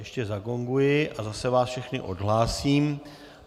Ještě zagonguji a zase vás všechny odhlásím.